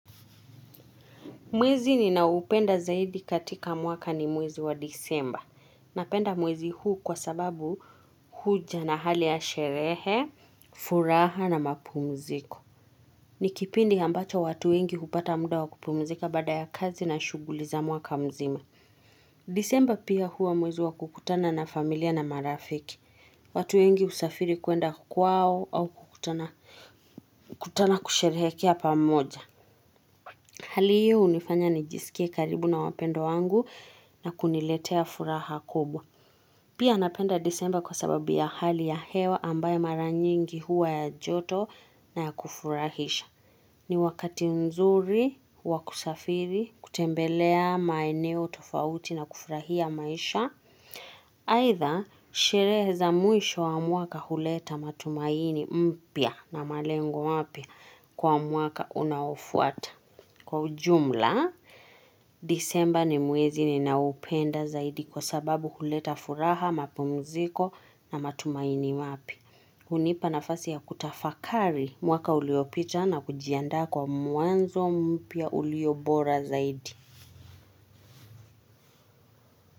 Mwezi ninaupenda zaidi katika mwaka ni mwezi wa disemba. Napenda mwezi huu kwa sababu huja na hali ya sherehe, furaha na mapumziko. Ni kipindi ambacho watu wengi hupata muda wa kupumzika baada ya kazi na shughuli za mwaka mzima. Disemba pia huwa mwezi wa kukutana na familia na marafiki. Watu wengi husafiri kuenda kwao au kukutana kusherehekea pamoja. Hali hiyo junifanya nijisikie karibu na wapendwa wangu na kuniletea furaha kubwa. Pia napenda disemba kwa sababu ya hali ya hewa ambayo mara nyingi huwa ya joto na ya kufurahisha. Ni wakati nzuri, wa kusafiri, kutembelea maeneo, tofauti na kufurahia maisha. Aidha, sherehe za mwisho wa mwaka huleta matumaini mpya na malengo mapya kwa mwaka unaofuata. Kwa ujumla, disemba ni mwezi ninaupenda zaidi kwa sababu huleta furaha, mapumziko na matumaini mapya. Hunipa nafasi ya kutafakari mwaka uliopita na kujiandaa kwa muanzo mpya ulio bora zaidi.